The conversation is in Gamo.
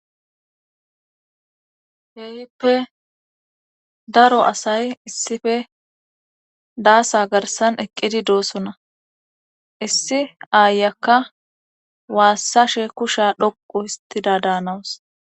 Heehippe daro asay issife daasa garsan eqqidi doosona issi aayakka waassashe kusha dhoqu histida daanawus.